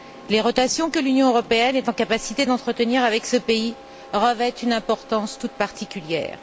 Les relations que l'Union européenne est en mesure d'entretenir avec ce pays revêtent une importance toute particulière.